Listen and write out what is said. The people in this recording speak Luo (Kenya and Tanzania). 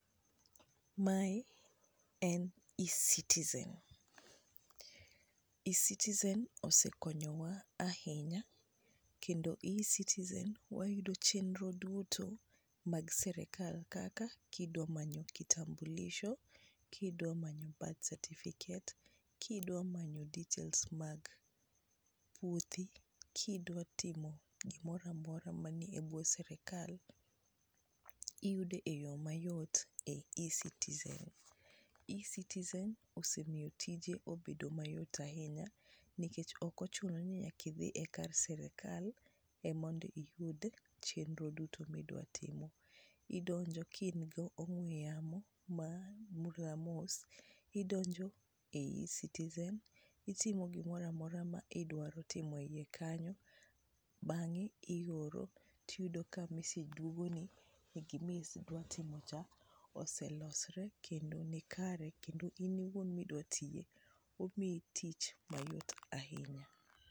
Mae en e-citizen. E-citizen osekonyowa ahinya kendo e-citizen wayudo chenro duto mag sirikal kaka kidwa manyo kitambulisho, kidwa manyo birth certificate, kidwa manyo details mag puothi, kidwa timo gimoro amora manie bwo sirikal, iyudo e yo mayot ei e-citizen. E-citizen osemiyo tije obedo mayot ahinya nikech ok ochuno ni nyaka idhi e kar sirikal e mondo iyud chenro duto midwa timo. Idonjo ka in gi ong'we yamo ma idonjo e e-ciizen, itimo gimoro amora ma idwaro timo ei kanyo, bang'e ioro, tiyudo ka message dwogoni e gimidwa timo cha, oselosre kendo nikare kendo in iwuon midwa tiye, omiyi tich mayot ahinya.